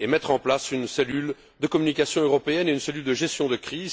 et mettre en place une cellule de communication européenne et une cellule de gestion de crise.